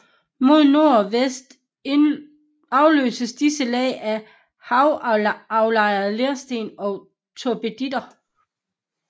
Mod nord og vest afløses disse lag af havaflejrede lersten og turbiditter